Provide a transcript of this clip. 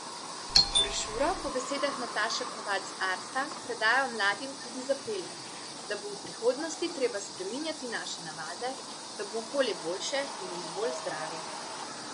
Brošuro po besedah Nataše Kovač z Arsa predajajo mladim tudi z apelom, da bo v prihodnosti treba spreminjati naše navade, da bo okolje boljše in bomo bolj zdravi.